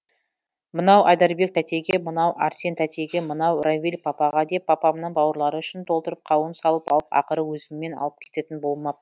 мынау айдарбек тәтеге мынау арсен тәтеге мынау равиль папаға деп папамның бауырлары үшін толтырып қауын салып алып ақыры өзіммен алып кететін болмап